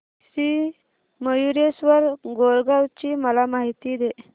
श्री मयूरेश्वर मोरगाव ची मला माहिती दे